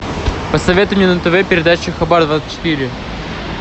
посоветуй мне на тв передачу хабар двадцать четыре